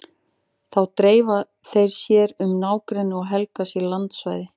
Þá dreifa þeir sér um nágrennið og helga sér landsvæði.